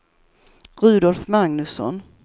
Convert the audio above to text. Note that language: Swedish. Rudolf Magnusson